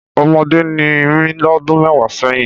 Ọmọdé ni mí lọ́dún mẹ́wàá sẹ́yìn.